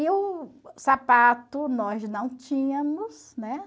E o sapato, nós não tínhamos, né?